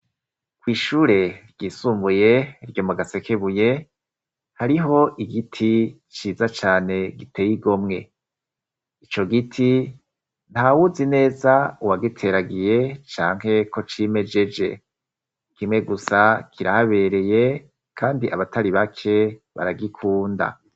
Kw'ishure ryisumbuye ryo mu Gasekebuye hariho igiti ciza cane giteye igomwe, ico giti nta wuzi neza uwagiteragiye canke ko cimejeje, kimwe gusa kirahabereye, kandi abatari bake baragikunda.